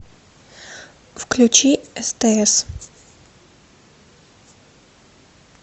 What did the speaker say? включи стс